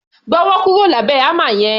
Gbọ́wọ́ kúrò lábẹ̀ hámà yẹn!